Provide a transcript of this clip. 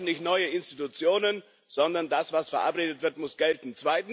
Wir brauchen nicht neue Institutionen, sondern das, was verabredet wird, muss gelten.